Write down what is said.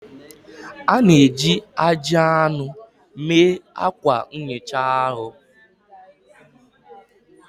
A na-eji ajị anụ mee akwa nhicha ahu